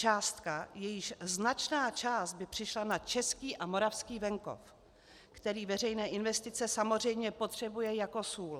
Částka, jejíž značná část by přišla na český a moravský venkov, který veřejné investice samozřejmě potřebuje jako sůl.